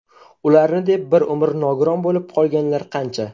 Ularni deb bir umr nogiron bo‘lib qolganlar qancha.